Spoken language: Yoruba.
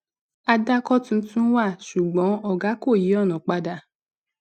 àdàkọ tuntun wà ṣùgbọn ògá kọ yí ònà padà